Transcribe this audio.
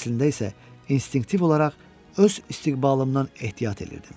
Əslində isə instinktiv olaraq öz istiğbalımdan ehtiyat edirdim.